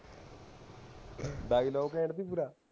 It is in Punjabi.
ਖੇਡਦੀ ਪੂਰਾ